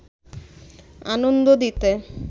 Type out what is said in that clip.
আনন্দ দিতে